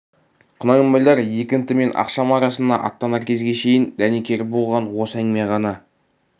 құнанбайлар екінті мен ақшам арасында аттанар кезге шейін дәнекер болған осы әңгіме ғана